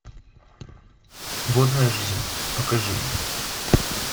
водная жизнь покажи мне